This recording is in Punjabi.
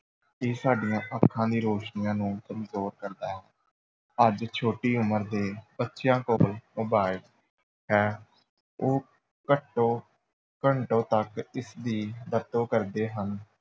ਇਹ ਸਾਡੀਆਂ ਅੱਖਾਂ ਦੀ ਰੋਸ਼ਨੀਆਂ ਨੂੰ ਕਮਜ਼ੋਰ ਕਰਦਾ ਹੈ, ਅੱਜ ਛੋਟੀ ਉਮਰ ਦੇ ਬੱਚਿਆਂ ਕੋਲ mobile ਹੈ ਉਹ ਘੱਟੋ ਘੰਟੋਂ ਤੱਕ ਇਸਦੀ ਵਰਤੋਂ ਕਰਦੇ ਹਨ।